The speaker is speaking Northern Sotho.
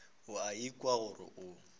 o a ikwa gore o